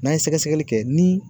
N'an ye sɛgɛsɛgɛli kɛ ni